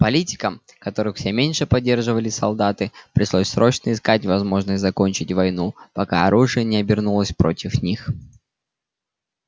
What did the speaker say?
политикам которых всё меньше поддерживали солдаты пришлось срочно искать возможность закончить войну пока оружие не обернулось против них